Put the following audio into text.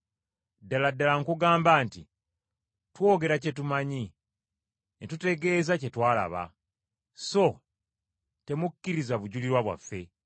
Ddala ddala nkugamba nti twogera kye tumanyi, ne tutegeeza kye twalaba, so temukkiriza bujulirwa bwaffe.